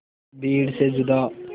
भीड़ से जुदा